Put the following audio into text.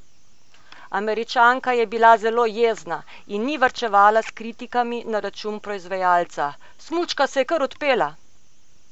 Američanka je bila zelo jezna in ni varčevala s kritikami na račun proizvajalca: 'Smučka se je kar odpela.